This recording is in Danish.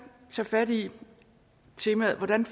tage fat i temaet om hvordan